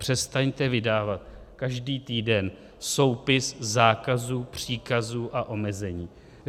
Přestaňte vydávat každý týden soupis zákazů, příkazů a omezení.